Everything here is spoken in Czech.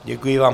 Děkuji vám.